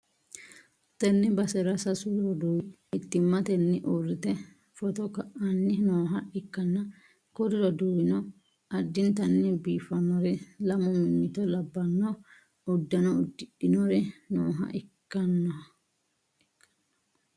tenne basera sasu roduwi mittimmatenni uuurrite footo ka'anni nooha ikkanna, kuri roduuwino addintanni biiffannori lamu mimmito labbanno uddano uddidhinori nooha ikkannao.